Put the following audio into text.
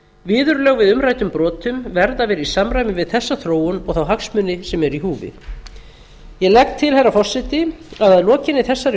viðurlög við umræddum brotum verða að vera í samræmi við þessa þróun og þá hagsmuni sem eru í húfi ég legg til herra forseti að lokinni þessari